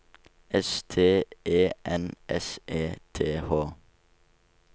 S T E N S E T H